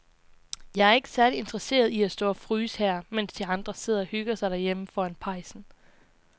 Jeg er ikke særlig interesseret i at stå og fryse her, mens de andre sidder og hygger sig derhjemme foran pejsen.